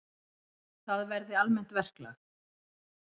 Það verði almennt verklag.